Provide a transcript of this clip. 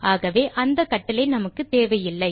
ஆகவே அந்த கட்டளை நமக்கு தேவையில்லை